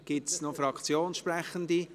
Gibt es noch Fraktionssprechende?